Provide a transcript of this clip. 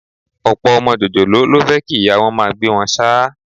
Ọ̀pọ̀ ọmọ jòjòló ló fẹ́ kí ìyá wọn máa gbé wọn ṣáá